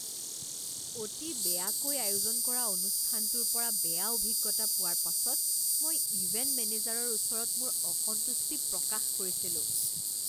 অতি বেয়াকৈ আয়োজন কৰা অনুষ্ঠানটোৰ পৰা বেয়া অভিজ্ঞতা পোৱাৰ পাছত মই ইভেণ্ট মেনেজাৰৰ ওচৰত মোৰ অসন্তুষ্টি প্ৰকাশ কৰিছিলো।